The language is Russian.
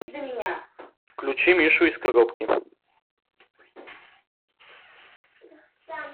включи мишу из коробки